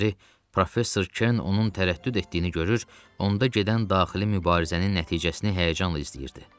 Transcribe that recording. Professor Kern onun tərəddüd etdiyini görür, onda gedən daxili mübarizənin nəticəsini həyəcanla izləyirdi.